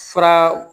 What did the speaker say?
Fura